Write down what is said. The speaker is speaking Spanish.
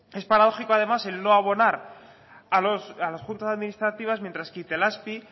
es paradójico además el no abonar a las juntas administrativas mientras que itelazpi